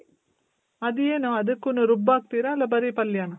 ಅದೇನು ಅದುಕ್ಕುನು ರುಬ್ಬ್ ಹಾಕ್ತಿರ ಇಲ್ಲ ಬರಿ ಪಲ್ಯನ?